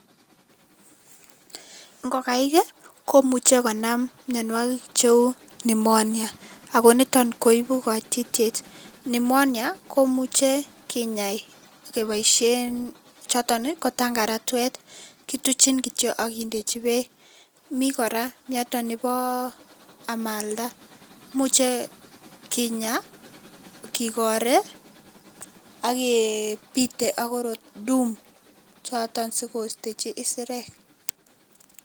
Ng'okaik ii komuche konam mionwokik cheuu pnemonia, akoniton koibuu koititiet, pnemonia komuche kinyaa keboishen choton ko tang'aratwet, kituchin kityok ak kindechi beek, mii kora miondo neboo amalda, imuche kinyaa kikoree ak kebiite ak tuum, choton sikostechi isirek.